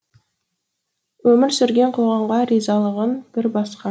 өмір сүрген қоғамға ризалығың бір басқа